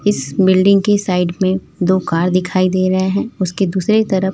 इस बिल्डिंग की साइड में दो कार दिखाई दे रहे हैं उसके दूसरे तरफ--